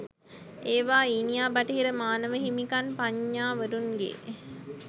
ඒවා ඊනියා බටහිර මානව හිමිකම් පඤ්ඤාවරුන්ගේ